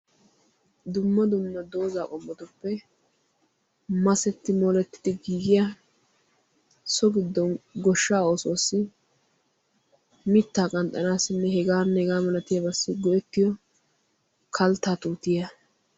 dumma dumma dozzaa qommotuppe masetti moletti giiggiya so giddon goshshaa oossuwassi mitaa qanxxanaassinne hegaanne hegaa malatiyaageetussi go'ettiyo kaltaa tuutiya